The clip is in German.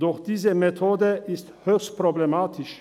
Doch diese Methode ist höchstproblematisch.